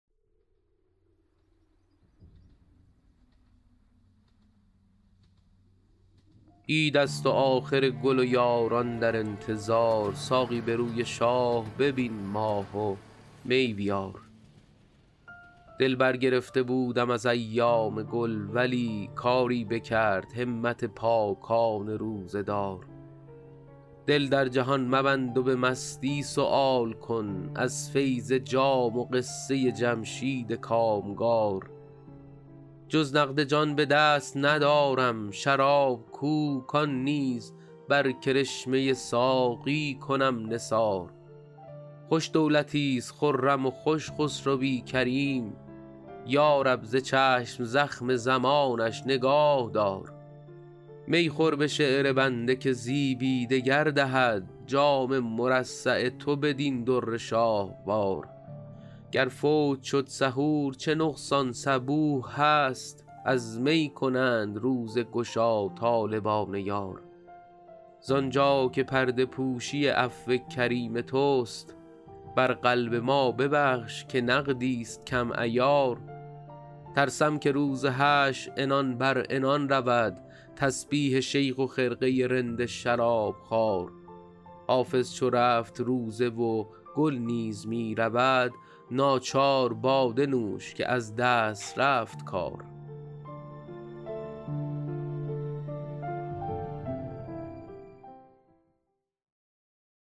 عید است و آخر گل و یاران در انتظار ساقی به روی شاه ببین ماه و می بیار دل برگرفته بودم از ایام گل ولی کاری بکرد همت پاکان روزه دار دل در جهان مبند و به مستی سؤال کن از فیض جام و قصه جمشید کامگار جز نقد جان به دست ندارم شراب کو کان نیز بر کرشمه ساقی کنم نثار خوش دولتیست خرم و خوش خسروی کریم یا رب ز چشم زخم زمانش نگاه دار می خور به شعر بنده که زیبی دگر دهد جام مرصع تو بدین در شاهوار گر فوت شد سحور چه نقصان صبوح هست از می کنند روزه گشا طالبان یار زانجا که پرده پوشی عفو کریم توست بر قلب ما ببخش که نقدیست کم عیار ترسم که روز حشر عنان بر عنان رود تسبیح شیخ و خرقه رند شرابخوار حافظ چو رفت روزه و گل نیز می رود ناچار باده نوش که از دست رفت کار